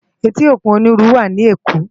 Éti ókún ónirú wá ni Ékó